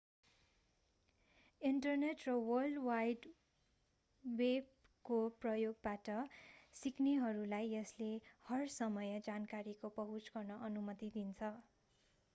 internet र world wide वेबको प्रयोगबाट सिक्नेहरूलाई यसले हर समय जानकारीको पहुँच गर्न अनुमति दिन्छ